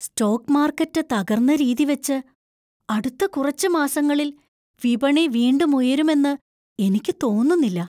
Stock market തകർന്ന രീതിവച്ച്, അടുത്ത കുറച്ച് മാസങ്ങളിൽ വിപണി വീണ്ടും ഉയരുമെന്ന് എനിക്ക് തോന്നുന്നില്ല.